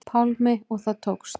Pálmi: Og það tókst?